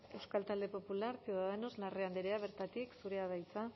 euskal talde popularra ciudadanos larrea andrea bertatik zurea da hitza